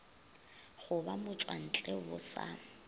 go ba motšwantle bo sa